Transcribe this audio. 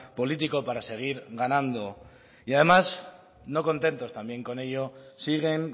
político para seguir ganando y además no contentos también con ello siguen